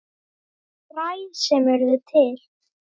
Fræ sem urðu til.